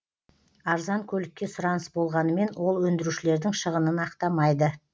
арзан көлікке сұраныс болғанымен ол өндірушілердің шығынын ақтамайды